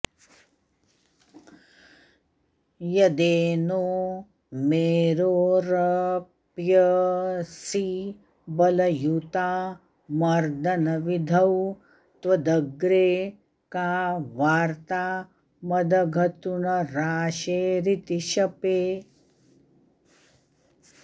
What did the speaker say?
यदेनो मेरोरऽप्यऽसि बलयुता मर्दनविधौ त्वदग्रे का वार्ता मदघतृणराशेरिति शपे